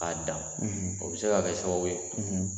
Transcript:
A dan o bɛ se ka kɛ sababu ye